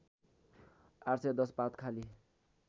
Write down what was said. ८१० पात खाली